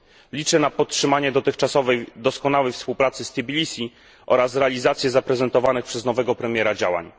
Liczę na podtrzymanie dotychczasowej doskonałej współpracy z Tbilisi oraz na realizację zaprezentowanych przez nowego premiera działań.